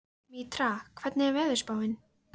Mítra, hvernig er veðurspáin?